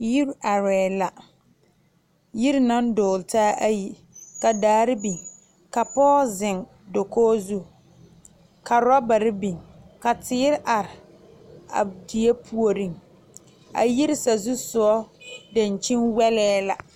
Yiri arɛɛ la yiri naŋ dɔgele taa ayi ka daare biŋ ka pɔge zeŋ dakoo zu ka orɔbare biŋ ka teere are ka die puoriŋ ka yiri sazu sogɔ dankyini wɛlɛɛ la